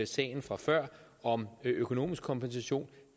sagen fra før om økonomisk kompensation